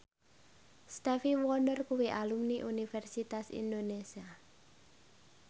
Stevie Wonder kuwi alumni Universitas Indonesia